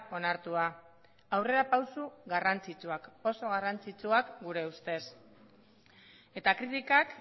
onartua aurrerapauso garrantzitsuak oso garrantzitsuak gure ustez eta kritikak